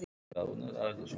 Og ég skil ekki neitt.